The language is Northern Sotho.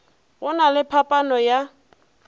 go na le phaphano ya